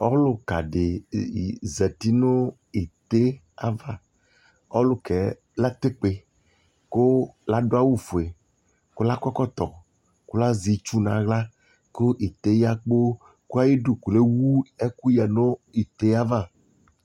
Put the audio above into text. ɔlʋka di zati nʋ ɛtè aɣa, ɔlʋkaɛ latè kpè kʋ ladʋ awʋ ƒʋɛ kʋ la kɔ ɛkɔtɔ kʋ la zɛ itsʋ nʋ ala kʋ ɛtè ya kpɔɔ kʋ ayidʋ lɛwʋ ɛkʋ yanʋɛtè aɣa